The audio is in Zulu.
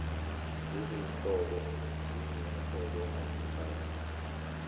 zezinhlobo zezinyathelo ongazithatha